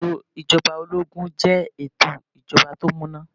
Ètò ijoba ológun jẹ́ ètò ìjọba tó múná.